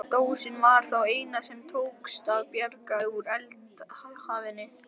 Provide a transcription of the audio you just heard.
Dósin var það eina sem tókst að bjarga úr eldhafinu.